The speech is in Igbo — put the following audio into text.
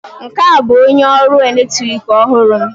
Nke a bụ onye ọrụ eletrik ọhụrụ m